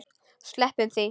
Sleppum því.